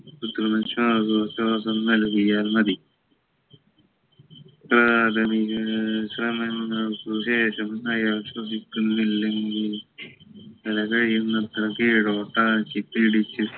കൃത്രിമ ശ്വാസോച്ഛാസം നൽകിയാൽ മതി പ്രാഥമിക ശ്രമങ്ങൾക്ക് ശേഷം അയാൾ ശ്വസിക്കുന്നില്ലെങ്കിൽ തല കഴിയുന്നത്ര കീഴോട്ടാക്കി പിടിച്ച്